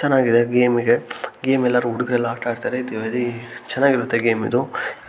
ಚೆನ್ನಾಗಿದೆ ಗೇಮ್ಇಗೆ ಗೇಮ್ ಎಲ್ಲರು ಹುಡುಗರು ಎಲ್ಲರು ಆಟಾಡುತಾರೆ ಇದು ವೆರಿ ಚೆನ್ನಾಗಿದೆ ಗೇಮ್ ಇದು